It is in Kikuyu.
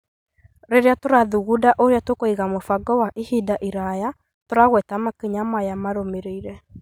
Rĩrĩa tũrathugunda ũrĩa tũkũiga mũbango wa ihinda iraya, tũragweta makinya maya marũmĩrĩire.